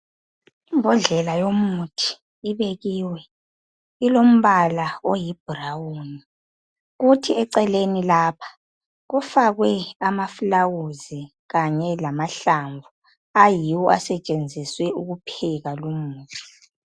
Imbodlela yomuthi ibekiwe ilombala oyibrown kuthi eceleni lapha kufakwe amaflawuzi kanye lamahlamvu ayiwo asetshenziswe ukupheka lumuthi.